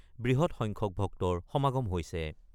উদ্দেশ্যেৰে বৃহৎ সংখ্যক ভক্তৰ সমাগম হৈছে।